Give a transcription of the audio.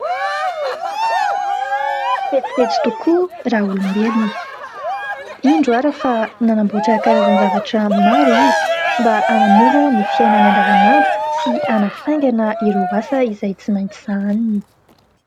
Fetsifetsy tokoa raolombelona, indro ary fa nanamboatra karazan-javatra maro izy mba hanamora ny fiainany an-davanandro sy hanafaingana ireo asa izay tsy maintsy sahaniny.